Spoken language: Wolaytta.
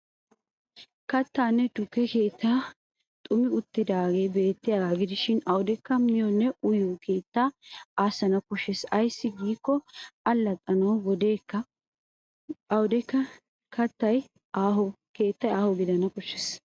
Kattanne tukke keettanne xuummi uttidaagee beettiyaagaa gidishin awudekka miyonne uyiyo keettaa aassana koshshes. Ayssi giikko allaxxanawu awudekka keettay aaho gidana koshshes.